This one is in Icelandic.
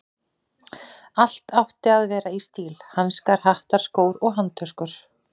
Allt átti að vera í stíl: hanskar, hattar, skór og handtöskur.